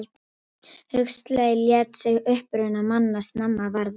Huxley lét sig uppruna manna snemma varða.